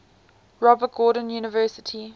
robert gordon university